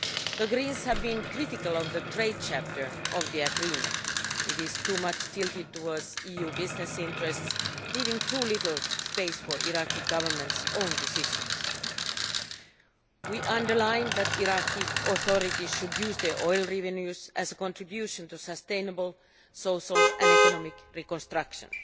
The Greens have been critical of the trade chapter of the agreement it is too much slanted towards EU business interests, leaving too little space for the Iraqi Government's own decisions. We underline that the Iraqi authorities should use their oil revenues as a contribution to sustainable social and economic reconstruction.